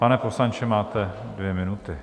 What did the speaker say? Pane poslanče, máte dvě minuty.